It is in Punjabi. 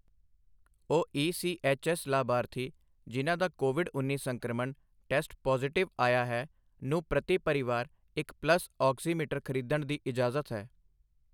ਉਹ ਈਸੀਐੱਚਐੱਸ ਲਾਭਾਰਥੀ, ਜਿਨ੍ਹਾਂ ਦਾ ਕੋਵਿਡ ਉੱਨੀ ਸੰਕ੍ਰਮਣ ਟੈਸਟ ਪਾਜ਼ਿਟਿਵ ਆਇਆ ਹੈ, ਨੂੰ ਪ੍ਰਤੀ ਪਰਿਵਾਰ ਇੱਕ ਪਲਸ ਔਕਸੀਮੀਟਰ ਖਰੀਦਣ ਦੀ ਇਜਾਜ਼ਤ ਹੈ।